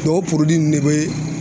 Dɔw de bɛ